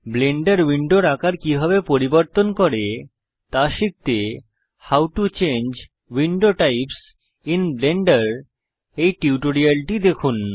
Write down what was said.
Blender উইন্ডোর আকার কিভাবে পরিবর্তন করে তা শিখতে how to change window types in Blender এই টিউটোরিয়ালটি দেখুন